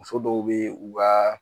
Muso dɔw be yen u ka